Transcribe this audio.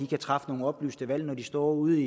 kan træffe nogle oplyste valg når de står ude